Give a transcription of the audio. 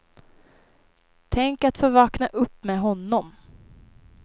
Tänk att få vakna upp med honom.